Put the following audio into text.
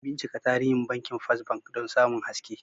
Bincika tarihin Bankin First Bank don samun haske.